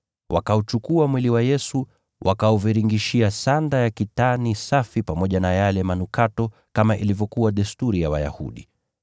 Wakauchukua mwili wa Yesu, wakaufunga katika sanda ya kitani safi pamoja na yale manukato, kama ilivyokuwa desturi ya Wayahudi.